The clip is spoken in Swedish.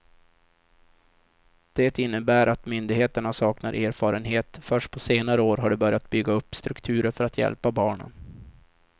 Det innebär att myndigheterna saknar erfarenhet, först på senare år har de börjat bygga upp strukturer för att hjälpa barnen.